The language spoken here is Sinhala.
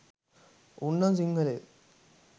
උන් නම් සිංහලයෝ